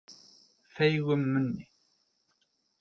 Feigum munni